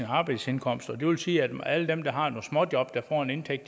arbejdsindkomst og det vil sige at alle dem der har nogle småjob der får en indtægt